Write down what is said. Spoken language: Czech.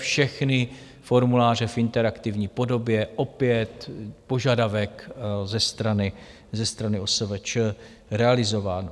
Všechny formuláře v interaktivní podobě - opět požadavek ze strany OSVČ realizován.